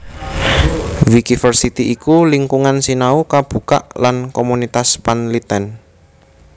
Wikiversity iku lingkungan sinau kabukak lan komunitas panlitèn